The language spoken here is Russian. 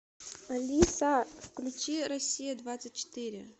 алиса включи россия двадцать четыре